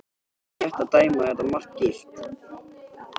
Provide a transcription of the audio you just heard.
Var það rétt að dæma þetta mark gilt?